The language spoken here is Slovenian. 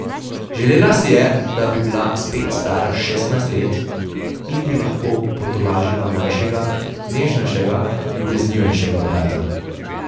Želela si je, da bi bila spet stara šestnajst let in bi lahko potolažila mlajšega, nežnejšega, ljubeznivejšega brata.